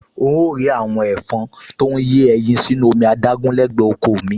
N óò rí àwọn ẹ̀fọn tó ń yé ẹyin sínú omi adágún lẹ́gbẹ̀ẹ́ oko ò mi